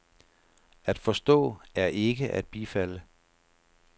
At forstå er ikke at bifalde.